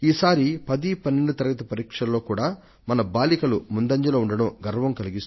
ఈ సారి పదో తరగతి పన్నెండో తరగతి పరీక్షలలో మన బాలికలు ఎంతో చక్కటి ముందడుగు వేయడం గర్వ కారణం